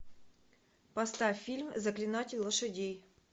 поставь фильм заклинатель лошадей